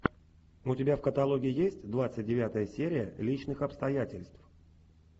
у тебя в каталоге есть двадцать девятая серия личных обстоятельств